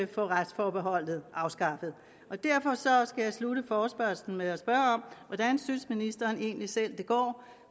få retsforbeholdet afskaffet derfor skal jeg slutte forespørgslen med at spørge hvordan synes ministeren egentlig selv det går